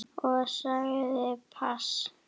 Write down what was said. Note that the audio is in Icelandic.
Og sagði pass.